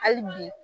Hali bi